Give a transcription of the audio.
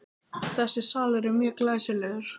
Þessi salur er mjög glæsilegur.